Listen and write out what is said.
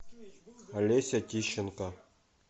олеся тищенко